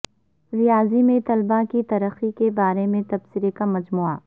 ریاضی میں طلباء کی ترقی کے بارے میں تبصرے کا مجموعہ